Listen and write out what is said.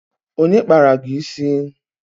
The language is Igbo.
Onye kpara gị isi?